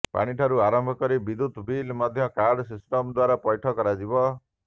ପାଣିଠାରୁ ଆରମ୍ଭ କରି ବିଦ୍ୟୁତ ବିଲ ମଧ୍ୟ କାର୍ଡ ସିଷ୍ଟମ ଦ୍ୱାରା ପୈଠ କରାଯିବ